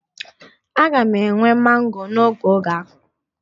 A ga-enwe mango n'oge oge akọrọ